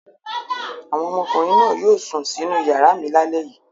Àwọn ọmọkùnrin náà yóò sùn sínú ìyàrá mi lálẹ́ yìí.